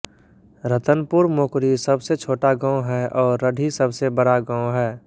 रतनपुर मोकरी सबसे छोटा गाँव है और रढ़ी सबसे बड़ा गाँव है